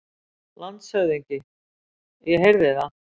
LANDSHÖFÐINGI: Ég heyrði það!